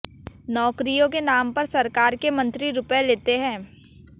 नौकरियों के नाम पर सरकार के मंत्री रुपए लेते हैं